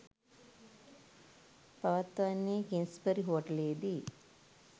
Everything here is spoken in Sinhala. පවත්වන්නේ කිංස්බරි හෝටලයේදී.